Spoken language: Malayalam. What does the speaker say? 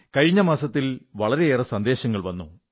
കഴിഞ്ഞ മാസങ്ങളിൽ വളരെയേറെ സന്ദേശങ്ങൾ വന്നു